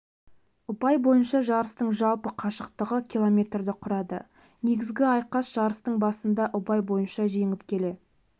ұпай бойынша жарыстың жалпы қашықтығы километрді құрады негізгі айқас жарыстың басында ұпай бойынша жеңіп келе